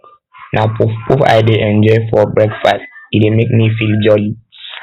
na puffpuff um i dey enjoy for breakfast e dey um make me feel jolly